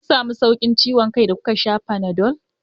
Kun samu sauƙin ciwon kai da kuka sha Fanadol?